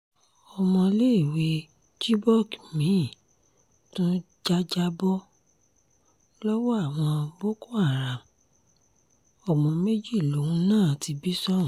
ọmọléèwé chibok mi-ín tún jàjàbọ́ lọ́wọ́ àwọn boko haram ọmọ méjì lòun náà ti bí sóhun